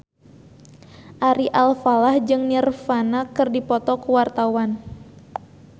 Ari Alfalah jeung Nirvana keur dipoto ku wartawan